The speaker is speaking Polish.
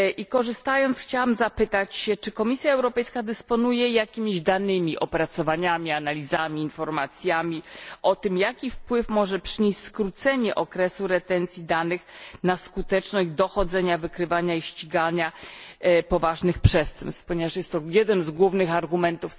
Korzystając z okazji, chciałam zapytać, czy Komisja Europejska dysponuje jakimiś danymi, opracowaniami, analizami, informacjami o tym, jaki wpływ może przynieść skrócenie okresu retencji danych na skuteczność dochodzenia, wykrywania i ścigania poważnych przestępstw, ponieważ jest to jeden z głównych argumentów.